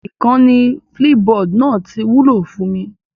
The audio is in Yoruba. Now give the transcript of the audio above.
Ìkànnì Flipboard náà ti wúlò fún mi